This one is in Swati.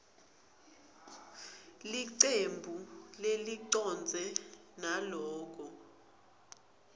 licembu lelicondzene naloko